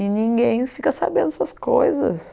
E ninguém fica sabendo essas coisas.